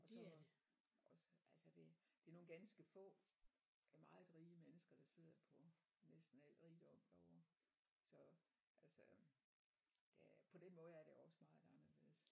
Og så også altså det det er nogle ganske få øh meget rige mennesker der sidder på næsten al rigdom derovre så altså øh på den måde er det også meget anderledes